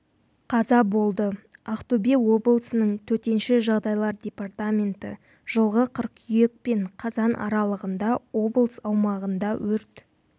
қаза болды ақтөбе облысының төтенше жағдайлар департаменті жылғы қыркүйек пен қазан аралығында облыс аумағында өрт